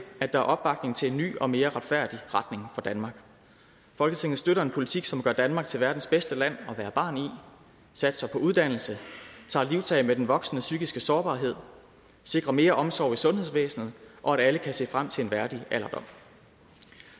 at der er opbakning til en ny og mere retfærdig retning for danmark folketinget støtter en politik som gør danmark til verdens bedste land at være barn i satser på uddannelse tager livtag med den voksende psykiske sårbarhed sikrer mere omsorg i sundhedsvæsenet og at alle kan se frem til en værdig alderdom